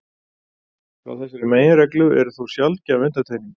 Frá þessari meginreglu er þó sjaldgæf undantekning.